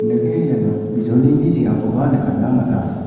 iano bijolini teng·akoba nikatna man·a.